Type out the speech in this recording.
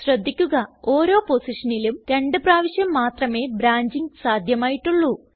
ശ്രദ്ധിക്കുക ഓരോ പൊസിഷനിലും രണ്ട് പ്രാവശ്യം മാത്രമേ ബ്രാഞ്ചിംഗ് സാധ്യമായിട്ടുള്ളൂ